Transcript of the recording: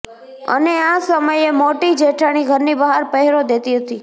અને આ સમયે મોટી જેઠાણી ઘરની બહાર પહેરો દેતી હતી